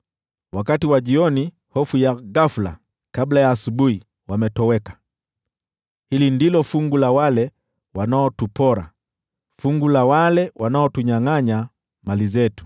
Wakati wa jioni, hofu ya ghafula! Kabla ya asubuhi, wametoweka! Hili ndilo fungu la wale wanaotupora, fungu la wale wanaotunyangʼanya mali zetu.